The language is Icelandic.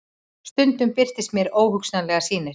Stundum birtust mér óhugnanlegar sýnir.